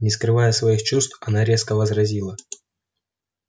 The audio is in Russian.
не скрывая своих чувств она резко возразила